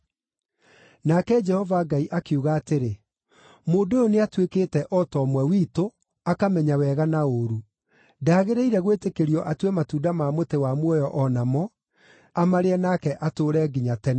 Nake Jehova Ngai akiuga atĩrĩ, “Mũndũ ũyũ nĩatuĩkĩte o ta ũmwe witũ, akamenya wega na ũũru. Ndagĩrĩire gwĩtĩkĩrio atue matunda ma mũtĩ wa muoyo o namo, amarĩe nake atũũre nginya tene.”